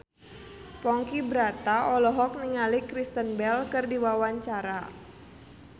Ponky Brata olohok ningali Kristen Bell keur diwawancara